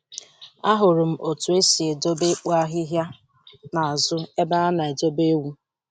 Ahụrụ m otu esi edobe ikpo ahịhịa n'azụ ebe a na-edobe ewu.